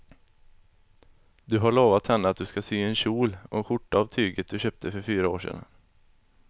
Du har lovat henne att du ska sy en kjol och skjorta av tyget du köpte för fyra år sedan.